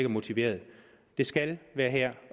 motiveret det skal være her